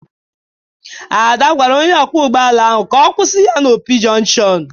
Ada gwara onye ọkwọ ụgbọala ahụ ka ọ kwụsị ya n'Opi jọnshọn.